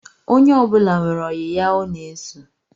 Onye ọbụla nwere oyi ya ọ na-eso